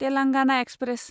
Telangana express